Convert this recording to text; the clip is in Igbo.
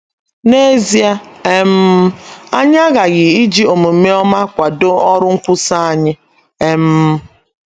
N’ezie um, anyị aghaghị iji omume ọma kwadoo ọrụ nkwusa anyị. um